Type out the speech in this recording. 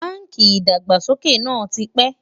bánkì ìdàgbàsókè nà tí pé